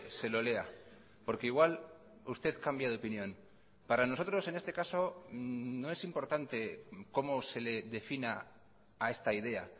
se lo lea porque igual usted cambia de opinión para nosotros en este caso no es importante como se le defina a esta idea